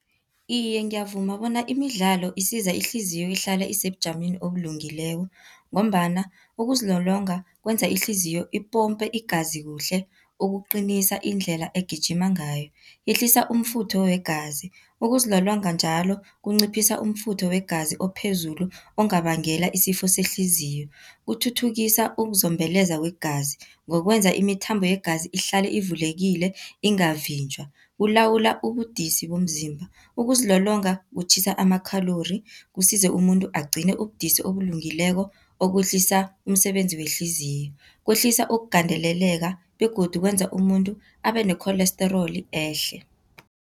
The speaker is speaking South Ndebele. Iye, ngiyavuma bona imidlalo isiza ihliziyo ihlale isebujameni obulungileko, ngombana ukuzilolonga kwenza ihliziyo ipompe igazi kuhle, ukuqinisa indlela egijima ngayo. Yehlisa umfutho wegazi, ukuzilolonga njalo kunciphisa umfutho wegazi ophezulu ongabangela isifo sehliziyo. Kuthuthukisa ukuzombeleza kwegazi ngokwenza imithambo yegazi ihlale ivulekile ingavinjwa. Kulawula ubudisi bomzimba, ukuzilolonga kutjhisa ama-calorie, kusize umuntu agcine ubudisi obulungileko, okwehlisa umsebenzi wehliziyo. Kwehlisa ukugandeleleka begodu kwenza umuntu abe ne-cholesterol ehle.